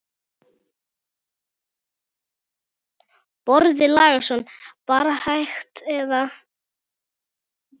Boði Logason: Bara hægt eða?